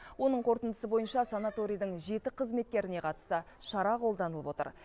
оның қорытындысы бойынша санаторийдің жеті қызметкеріне қатысты шара қолданылып отыр